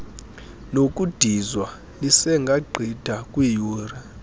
nokudizwa lisengagqitha kwiiyure